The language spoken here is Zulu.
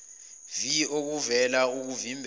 vii okokuvala okuvimbela